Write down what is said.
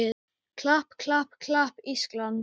klapp, klapp, klapp, Ísland!